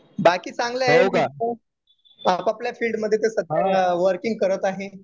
बाकी चांगले आहेत. आपापल्या फिल्डमध्ये ते सध्याला वर्किंग करत आहे.